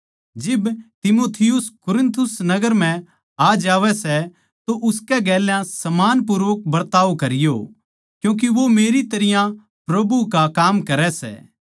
जिब तीमुथियुस कुरिन्थुस नगर म्ह आ जावै सै तो उसकै गेल सम्मानपूर्वक बरताव करियो क्यूँके वो मेरी तरियां प्रभु का काम करै सै